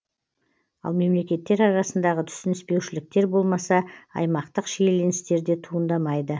ал мемлекеттер арасындағы түсініспеушіліктер болмаса аймақтық шиеленістер де туындамайды